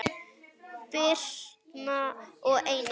Birna og Einar.